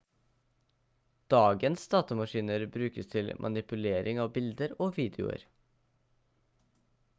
dagens datamaskiner brukes til manipulering av bilder og videoer